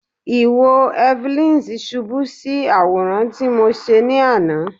Iwo Evelyns ṣubu si Aworan ti Mo ṣe ni ana